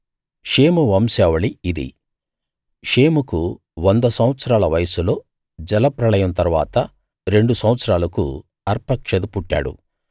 షేము వంశావళి ఇది షేముకు వంద సంవత్సరాల వయస్సులో జలప్రళయం తరువాత రెండు సంవత్సరాలకు అర్పక్షదు పుట్టాడు